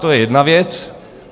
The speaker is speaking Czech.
To je jedna věc.